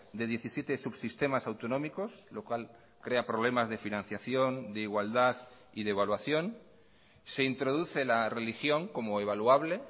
de diecisiete subsistemas autonómicos lo cual crea problemas de financiación de igualdad y de evaluación se introduce la religión como evaluable